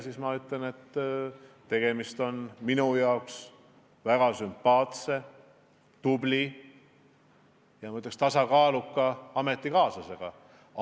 Minu jaoks on tegemist väga sümpaatse, tubli ja, ma ütleks, tasakaaluka ametikaaslasega.